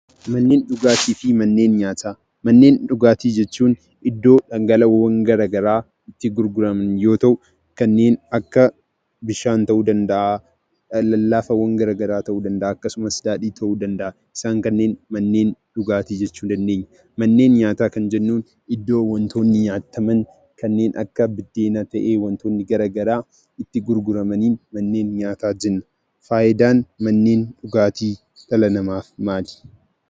Manneen dhugaatii fi mqnneen nyaataa. Manneen dhugaatii jechuun iddoo dhangala'oowwan garaa garaa itti gurguraman too ta'uu; kanneen akka bishaanii ta'uu danda'a, lallaafaawwan garaa garaa ta'uu danda'aa akkasumas daadhii ta'uu danda'a. Isaan kanneen manneen dhugaatii jechuu dandeenya. Manneen nyaataa kan jennuun immoo iddoo wantootni nyaataman kanneen akka buddeenaa ta'ee fi wantoonni garaa garaa itti gurguramaniin manneen nyaataa jenna. Faayidaan manneen dhugaatii dhala namaatiif maal?